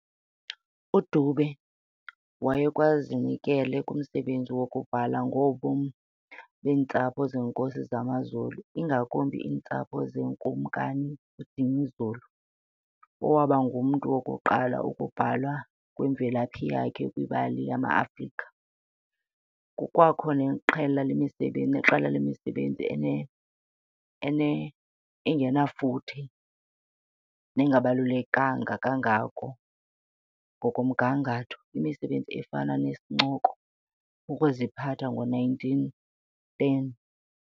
UDube wayekwazinikele kumsebenzi wokubhala ngobomi beentsapho zeenkosi zamaZulu, ingakumbi iintsapho zeNkumkani uDinizulu, owaba ngumntu wokuqalwa ukubhalwa kwemvelaphi yakhe kwimbali yamaAfrika. Kukwakho neqela lemisebenzi engenafuthe nengabalulekanga kangako ngokomgangatho, imisebenzi efana nesincoko"Ukuziphatha" ngo, 1910.